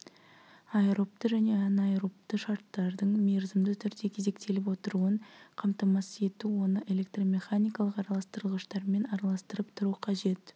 аэробты және анаэробты шарттардың мерзімді түрде кезектеліп отыруын қамтамасыз ету оны электромеханикалық араластырғыштармен араластырып тұру қажет